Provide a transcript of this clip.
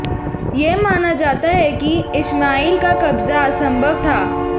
यह माना जाता है कि इश्माएल का कब्जा असंभव था